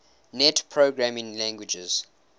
net programming languages